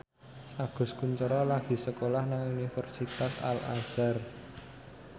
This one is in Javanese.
Agus Kuncoro lagi sekolah nang Universitas Al Azhar